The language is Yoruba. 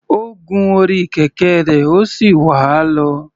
Ó gun orí kẹ̀kẹ́ rẹ̀, ó sì wà á lọ.